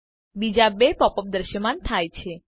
બીજા 2 pop up દ્રશ્યમાન થાય છે